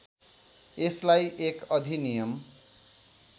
यसलाई एक अधिनियम